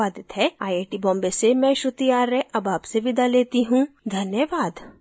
यह स्क्रिप्ट बिंदु पांडे द्वारा अनुवादित है आईआईटी बॉम्बे की ओर से मैं श्रुति आर्य अब आपसे विदा लेती हूँ धन्यवाद